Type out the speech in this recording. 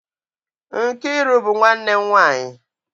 Nkiru bu nwannem nwanyi.